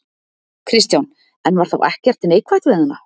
Kristján: En var þá ekkert neikvætt við hana?